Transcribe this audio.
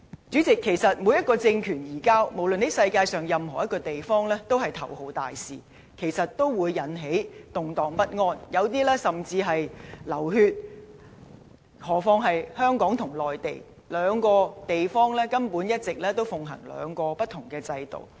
主席，每一個政權移交，無論在世界上任何一個地方，都是頭號大事，都會引起動盪不安，有些甚至流血，更何況是香港與內地，兩個地方一直奉行兩個不同制度。